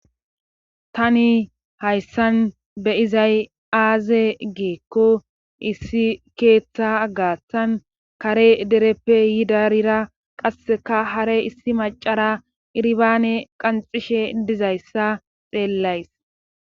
tani hayssan be izay aaze geekko issi keeththa gaatan kare dereppe yidarira qasseka hare issi macara irbaane qanxishe dizayssa xeellays